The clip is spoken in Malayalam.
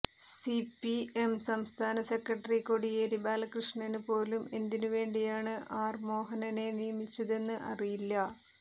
സിപിഎം സംസ്ഥാന സെക്രട്ടറി കോടിയേരി ബാലകൃഷ്ണന് പോലും എന്തിന് വേണ്ടിയാണ് ആർ മോഹനനെ നിയമിച്ചതെന്ന് അറിയില്ല